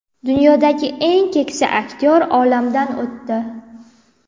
Dunyodagi eng keksa aktyor olamdan o‘tdi.